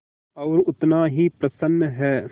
और उतना ही प्रसन्न है